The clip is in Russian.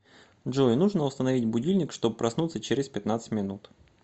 джой нужно установить будильник чтоб проснуться через пятнадцать минут